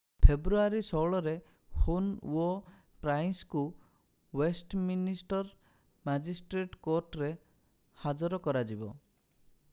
ଫେବୃଆରୀ 16 ରେ ହୁନ୍ ଓ ପ୍ରାଇସ୍ଙ୍କୁ ୱେଷ୍ଟମିନିଷ୍ଟର୍ ମାଜିଷ୍ଟ୍ରେଟ୍ କୋର୍ଟରେ ହାଜର କରାଯିବ